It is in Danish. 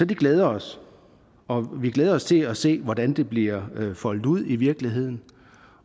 det glæder os og vi glæder os til at se hvordan det bliver foldet ud i virkeligheden